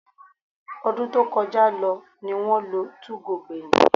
Ọdún tí ó kọjá ní wọ́n lo 2go gbẹ̀yìn